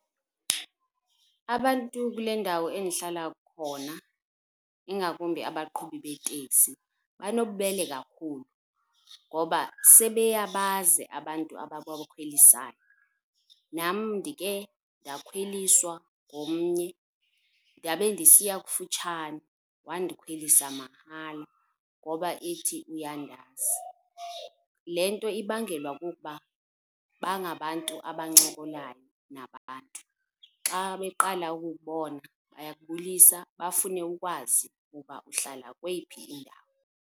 Abantu kule ndawo endihlala khona ingakumbi abaqhubi beetekisi banobubele kakhulu ngoba sebeyabazi abantu ababakhwelisayo, nam ndikhe ndakhweliswa ngomnye ndabe ndisiya kufutshane, wandikhwelisa mahala ngoba ethi uyandazi. Le nto ibangelwa kukuba bangabantu abancokolayo nabantu. Xa beqala ukukubona bayakubulisa bafune ukwazi ukuba uhlala kweyiphi indawo.